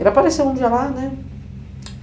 Ele apareceu um dia lá, né?